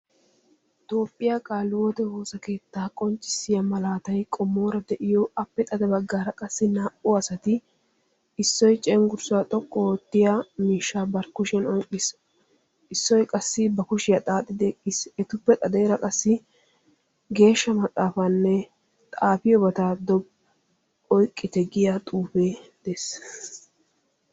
Toophphiyaa qaalihiwoote woossa keettaa qonccissiya malatay qommoora de'iyo appe xade baggaara naa"u asati issoy conggurssa xoqqu oottiya miishsha bari kushiyan oyqqiis issoy qassi bari kushshiya xaaxidi eqqiis. Etuppe xadeera qassi geeshsha maxaafanne xaafiyobata oyqqite giya xuufe de'ees.